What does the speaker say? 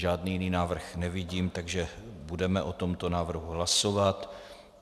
Žádný jiný návrh nevidím, takže budeme o tomto návrhu hlasovat.